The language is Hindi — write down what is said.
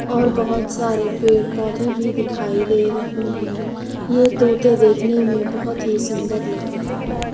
और बहोत सारे पेड़ पौधे भी दिखाई दे रहे हैं ये तोता देखने में बहोत ही सुंदर लग रहे हैं।